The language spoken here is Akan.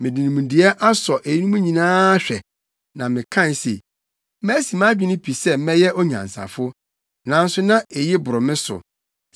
Mede nimdeɛ asɔ eyinom nyinaa ahwɛ, na mekae se, “Masi mʼadwene pi sɛ mɛyɛ onyansafo” nanso na eyi boro me so.